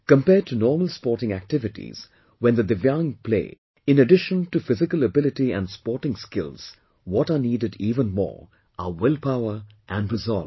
Compared to normal sporting activities, when the DIVYANG play, in addition to physical ability and sporting skills, what are needed even more are will power and resolve